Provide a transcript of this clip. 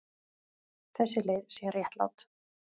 Þessi leið sé réttlát.